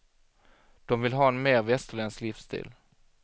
De vill ha en mer västerländsk livsstil.